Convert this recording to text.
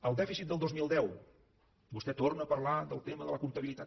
el dèficit del dos mil deu vostè torna parlar del tema de la comptabilitat